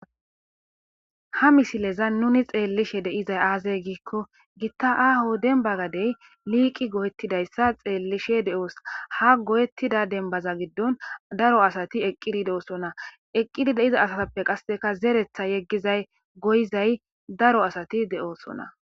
Ha misilezan nuni xeellishe de'izay aaze giiko gita aaho dembba gade liiqi goyetidayssa xeellishe de'os. Ha goyetida dembbaza giddon daro asati eqqidi de'osona eqqidi de'iza asatuppe qasseka zereththa yeggizay, goyizay daro asati de'osona.